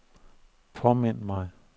påmind mig